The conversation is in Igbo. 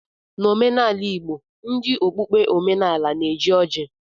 N'omenala Igbo ndị okpukpe omenaala na-eji ọjị